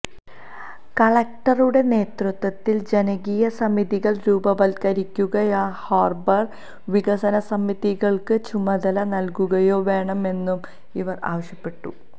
കളക്ടറുടെ നേതൃത്വത്തിൽ ജനകീയസമിതികൾ രൂപവത്കരിക്കുകയോ ഹാർബർ വികസനസമിതികൾക്ക് ചുമതല നൽകുകയോ വേണമെന്നും ഇവർ ആവശ്യപ്പെട്ടു